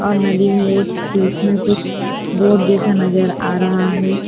और नदी में एक बीच में कुछ बोट जैसा नजर आ रहा है।